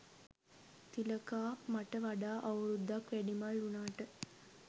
තිලකා මට වඩා අවුරුද්දක් වැඩිමල් වුනාට